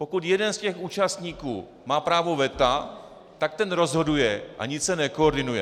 Pokud jeden z těch účastníků má právo veta, tak ten rozhoduje a nic se nekoordinuje.